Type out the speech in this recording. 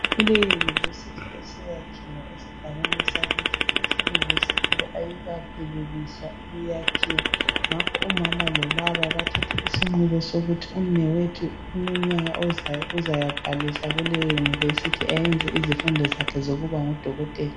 Kule university esiyakhiwe esigabeni sakithi. Isi university le ayikaphelelisi ukwakhiwa, ngakho umama lobaba bathethe isinqumo sokuthi umnewethu kuminyaka ozayo uzayabhalisa kuleyo university ayenze izifundo zakhe zokuba ngudokotela.